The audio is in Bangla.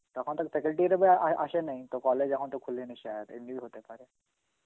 তখন তো faculty তবে আয়~ আসে নাই তো college এখন তো খুলেনি Hindi, এমনিও হতে পারে.